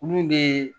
Min ne